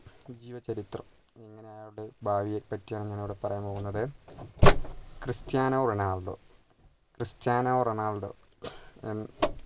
ജീവചരിത്രം ഞാൻ ഇവിടെ ബാല്യത്തെ പറ്റിയാണ് ഞാൻ ഇവിടെ പറയാൻ പോകുന്നത് ക്രിസ്റ്റ്യാനോ റൊണാൾഡോ ക്രിസ്റ്റ്യാനോ റൊണാൾഡോ